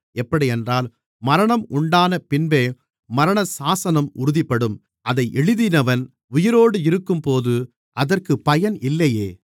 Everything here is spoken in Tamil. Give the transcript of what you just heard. எப்படியென்றால் மரணம் உண்டான பின்பே மரணசாசனம் உறுதிப்படும் அதை எழுதினவன் உயிரோடு இருக்கும்போது அதற்குப் பயன் இல்லையே